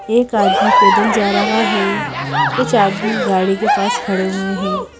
एक आदमी पैदल जा रहा है कुछ आदमी गाड़ी के पास खड़े हुए हैं।